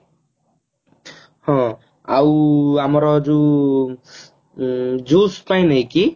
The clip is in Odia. ହଁ ଆମର ଯୋଉ juice ପାଇଁ ନୁହଁ କି